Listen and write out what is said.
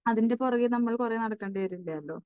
അതിൻറെ പുറകേ നമ്മൾ കുറെ നടക്കേണ്ടി വരില്ലല്ലോ.